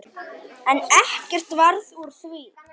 En ekkert varð úr því.